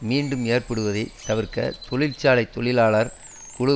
மீண்டும் ஏற்படுவதை தவிர்க்க தொழிற்சாலை தொழிலாளர் குழு